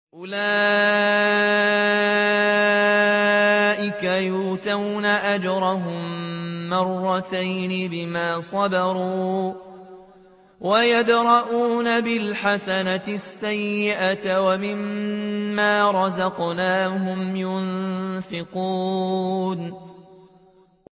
أُولَٰئِكَ يُؤْتَوْنَ أَجْرَهُم مَّرَّتَيْنِ بِمَا صَبَرُوا وَيَدْرَءُونَ بِالْحَسَنَةِ السَّيِّئَةَ وَمِمَّا رَزَقْنَاهُمْ يُنفِقُونَ